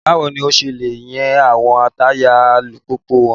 Báwo lo ṣe ń yẹ àwọn táyà alùpùpù wò?